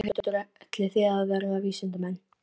Þórhildur: Ætlið þið að verða vísindamenn?